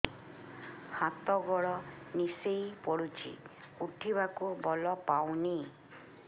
ହାତ ଗୋଡ ନିସେଇ ପଡୁଛି ଉଠିବାକୁ ବଳ ପାଉନି